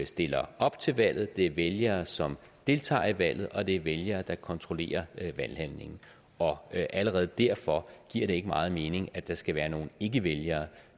stiller op til valget det er vælgere som deltager i valget og det er vælgere der kontrollerer valghandlingen og allerede derfor giver det ikke meget mening at der skal være nogle ikkevælgere